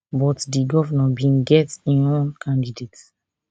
but di govnor bin get im own candidate